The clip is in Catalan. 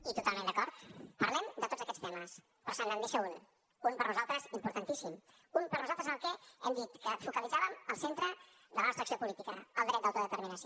i totalment d’acord parlem de tots aquests temes però se’n deixa un un per a nosaltres importantíssim un per a nosaltres en què hem dit que focalitzàvem el centre de la nostra acció política el dret d’autodeterminació